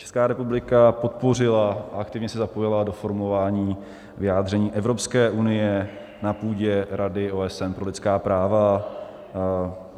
Česká republika podpořila a aktivně se zapojila do formování vyjádření Evropské unie na půdě Rady OSN pro lidská práva.